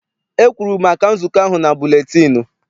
E kwuru maka nzukọ ahụ na buletịịnụ.